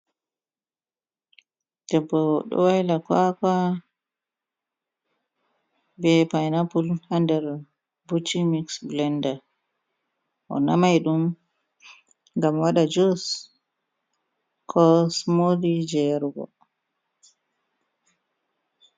Ɗeɓɓo ɗo waila kawaka, be painapul ha nɗer buchi miss bulenɗa. o namai ɗum ngam waɗa jus. Ko sumoti je yarugo.